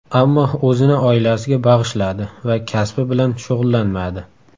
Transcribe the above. Ammo o‘zini oilasiga bag‘ishladi va kasbi bilan shug‘ullanmadi.